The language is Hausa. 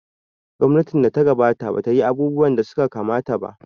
Gwamnatin da ta gabata ba ta yi abubuwa da suka kamata ba.